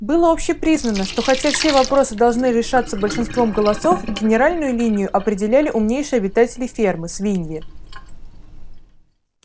было общепризнано что хотя все вопросы должны решаться большинством голосов генеральную линию определяли умнейшие обитатели фермы свиньи